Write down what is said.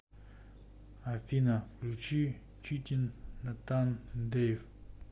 афина включи читин натан дэйв